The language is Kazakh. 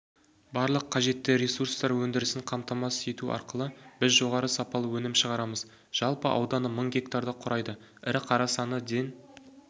барлық қажетті ресурстар өндірісін қаматамасыз ету арқылы біз жоғарғы сапалы өнім шығарамыз жалпы ауданы мың гектарды құрайды ірі қара саны ден